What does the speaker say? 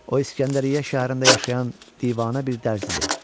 O İsgəndəriyyə şəhərində yaşayan divana bir dərz idi.